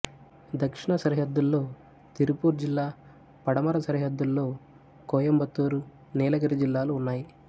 దక్షిణ సరిహద్దులలో తిరుపూర్ జిల్లా పడమర సరిహద్దులో కోయంబత్తూరు నీలగిరి జిల్లాలు ఉన్నాయి